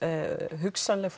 hugsanleg